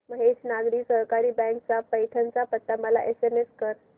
Mahesh Nagari Sahakari bank चा पैठण चा पत्ता मला एसएमएस कर